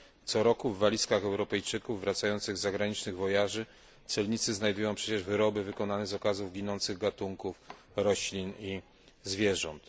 Co roku w walizkach Europejczyków wracających z zagranicznych wojaży celnicy znajdują przecież wyroby wykonane z okazów ginących gatunków roślin i zwierząt.